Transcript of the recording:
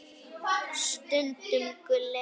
Stundum Gulli.